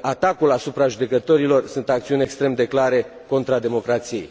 atacul asupra judecătorilor sunt acțiuni extrem de clare contra democrației.